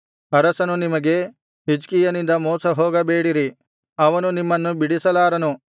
ಅರಸನು ನಿಮಗೆ ಹಿಜ್ಕೀಯನಿಂದ ಮೋಸ ಹೋಗಬೇಡಿರಿ ಅವನು ನಿಮ್ಮನ್ನು ಬಿಡಿಸಲಾರನು